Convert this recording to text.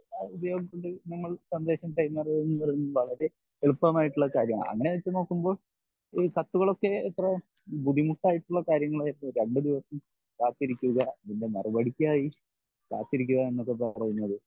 ഉപയോഗം കൊണ്ട് നമ്മൾ സന്ദേശം കൈ എന്ന് പറയുന്നത് വളരെ എളുപ്പമായിട്ടുള്ള കാര്യമാണ് അങ്ങിനെ വെച്ച് നോക്കുമ്പോൾ കത്തുകൾ ഒക്കെ എത്ര ബുദ്ധിമുട്ടായിട്ടുള്ള കാര്യങ്ങൾ ആയിരുന്നു രണ്ട് ദിവസം കാത്തിരിക്കുക ഇതിൻ്റെ മറുപടിക്കായി കാത്തിരിക്കുക എന്നൊക്കെ പറയുന്നത്